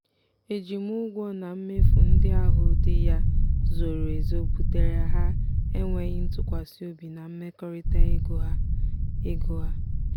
ejimụgwọ na mmefu ndị ahụ di ya zoro ezo butere ha enwéghị ntụkwasịobi na mmekọrịta ego ha. ego ha.